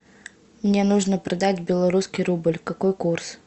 мне нужно продать белорусский рубль какой курс